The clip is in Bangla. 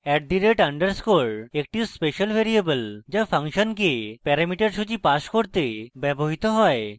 at দ rate underscore @_ একটি special ভ্যারিয়েবল যা ফাংশনকে প্যারামিটার সূচী pass করতে ব্যবহৃত হয়